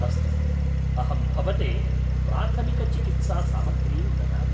अस्तु, अहं भवते प्राथमिकचिकित्सासामग्रीं ददामि।